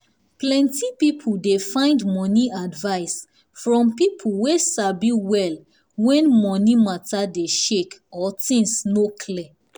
plenty people dey find money advice from people wey sabi well when money matter dey um shake or things no clear.